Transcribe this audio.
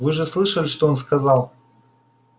вы же слышали что он сказал